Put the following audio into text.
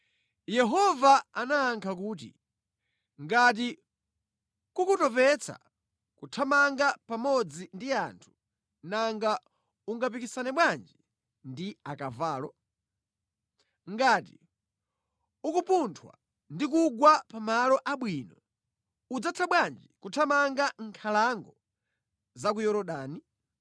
Yehova anayankha kuti, “Ngati kukutopetsa kuthamanga pamodzi ndi anthu nanga ungapikisane bwanji ndi akavalo? Ngati ukupunthwa ndi kugwa pa malo abwino, udzatha bwanji kuthamanga mʼnkhalango za ku Yorodani?